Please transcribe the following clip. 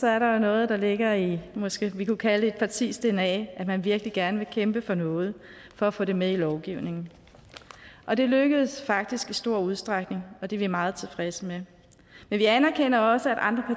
er der jo noget der ligger i det måske kunne kalde et partis dna altså at man virkelig gerne vil kæmpe for noget for at få det med i lovgivningen og det lykkedes faktisk i stor udstrækning og det er vi meget tilfredse med vi anerkender også at andre